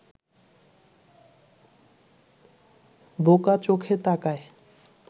বোকা-চোখে তাকায়